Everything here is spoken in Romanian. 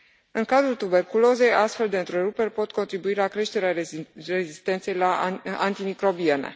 În cazul tuberculozei, astfel de întreruperi pot contribui la creșterea rezistenței la antimicrobiene.